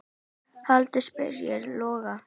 Hulda spyr Loga